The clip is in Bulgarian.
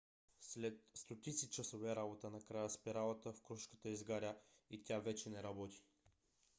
след стотици часове работа накрая спиралата в крушката изгаря и тя вече не работи